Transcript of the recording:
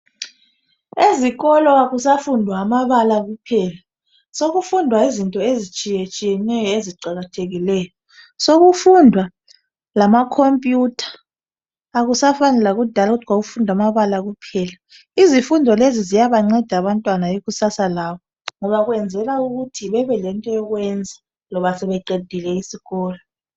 Ezikolo akusafundwa amabala kuphela sokufundwa into ezinengi ezitshiyetshiye neyo eziqakathekileyo sokufundwa lama khomputha akusafani lakudala ukuthi kwakufundwa amabala kuphela izifundo lezi ziyabanceda abantwana ikusasa labo ngoba kwenzelwa ukuthi bebe lento yokwenza loba sebeqedile isikolo